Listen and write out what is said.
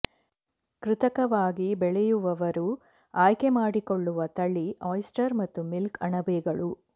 ಕೃತಕವಾಗಿ ಬೆಳೆಯುವವರು ಆಯ್ಕೆ ಮಾಡಿಕೊಳ್ಳುವ ತಳಿ ಆಯಿಸ್ಟರ್ ಮತ್ತು ಮಿಲ್ಕ್ ಅಣಬೆಗಳು